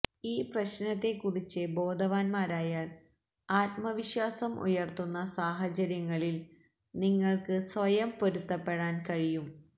ഈ പ്രശ്നത്തെക്കുറിച്ച് ബോധവാന്മാരായാൽ ആത്മവിശ്വാസം ഉയർത്തുന്ന സാഹചര്യങ്ങളിൽ നിങ്ങൾക്ക് സ്വയം പൊരുത്തപ്പെടാൻ കഴിയും